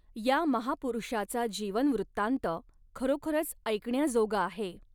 या महापुरुषाचा जीवन वृत्तांत खरोखरच ऐकण्याजोगा आहे.